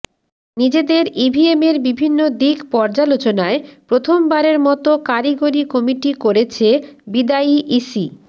নিজেদের ইভিএমের বিভিন্ন দিক পর্যালোচনায় প্রথমবারের মতো কারিগরি কমিটি করেছে বিদায়ী ইসি